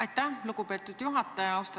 Aitäh, lugupeetud juhataja!